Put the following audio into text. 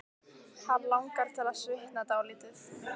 Hann langar til að svitna dálítið.